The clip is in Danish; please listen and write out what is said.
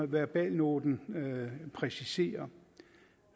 verbalnoten præciserer